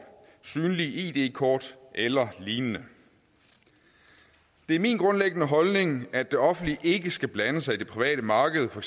synlige id kort eller lignende det er min grundlæggende holdning at det offentlige ikke skal blande sig i det private marked for